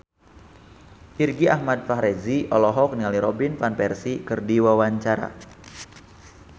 Irgi Ahmad Fahrezi olohok ningali Robin Van Persie keur diwawancara